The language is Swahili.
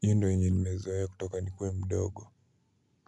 hiyo ndo yenye nimezoea kutoka nikuwe mdogo.